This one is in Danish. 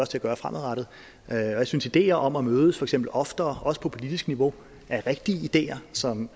til at gøre fremadrettet jeg synes idéer om at mødes for eksempel oftere også på politisk niveau er rigtige idéer som